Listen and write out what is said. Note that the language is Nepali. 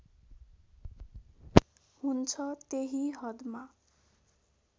हुन्छ त्यही हदमा